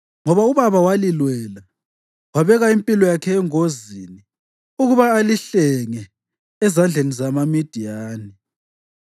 ngoba ubaba walilwela, wabeka impilo yakhe engozini ukuba alihlenge ezandleni zamaMidiyani